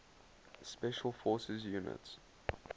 special forces units